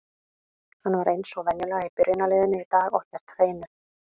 Hann var eins og venjulega í byrjunarliðinu í dag og hélt hreinu.